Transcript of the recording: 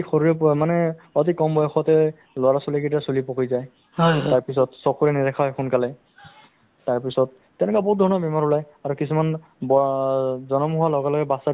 actually ক'ব গ'লে চৰকাৰক আমি যিটো ধৰক আমি কম বা আমি আমি এটা হেৰি অনুৰোধ কৰিছো চৰকাৰক যিটো আশাসকলক মানে দৰমহা ক্ষেত্ৰত হ'লেও তেওঁলোকক চকু দিয়ক বা তেওঁলোক দৰমহাৰ ব্যৱস্থা কৰক